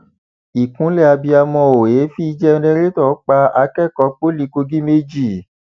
ìkúnlẹ abiyamọ o èéfín jẹrẹtọ pa akẹkọọ pọlì kogi méjì